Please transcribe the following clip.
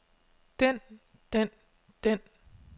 den den den